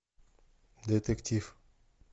детектив